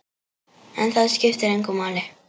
En það skiptir engu máli.